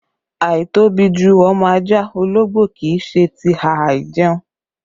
Àìtóbi ju ọmọ ajá ológbò kì í ṣe ti a àìjẹ̀un